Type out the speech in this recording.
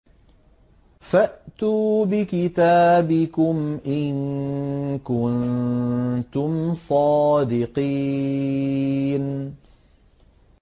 فَأْتُوا بِكِتَابِكُمْ إِن كُنتُمْ صَادِقِينَ